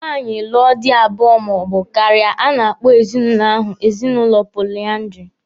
Nwaanyị lụọ di abụọ ma ọ bụ karịa, a na-akpọ ezinụlọ ahụ ezinụlọ poliandiri.